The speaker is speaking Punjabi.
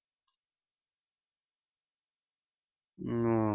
ਹਮ